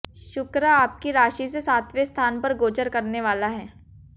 शुक्र आपकी राशि से सातवें स्थान पर गोचर करने वाला है